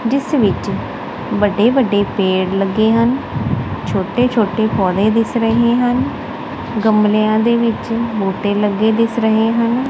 ਜਿੱਸ ਵਿੱਚ ਵੱਡੇ ਵੱਡੇ ਪੇੜ ਲੱਗੇ ਹਨ ਛੋਟੇ ਛੋਟੇ ਪੌਧੇ ਦਿੱਸ ਰਹੇ ਹਨ ਗਮਲੇਆਂ ਦੇ ਵਿੱਚ ਬੂਟੇ ਲੱਗੇ ਦਿੱਸ ਰਹੇ ਹਨ।